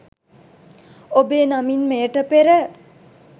ඔබේ නමින් මෙයට පෙර